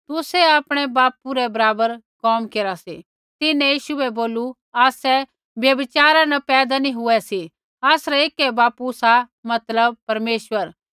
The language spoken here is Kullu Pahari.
तुसै आपणै बापू रै बराबर कोम केरा सी तिन्हैं यीशु बै बोलू आसै व्यभिचारा न पैदा नैंई हुऐ सी आसरा ऐकै बापू सा मतलब परमेश्वर